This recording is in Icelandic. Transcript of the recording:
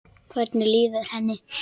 Hvernig líður henni?